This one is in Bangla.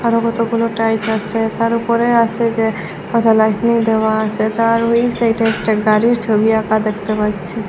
আরও কতগুলো টাইলস আসে তার উপরে আসে যে কত লাইটিং দেওয়া আছে তার ওই সাইডে একটা গাড়ির ছবি আঁকা দেখতে পাচ্ছি।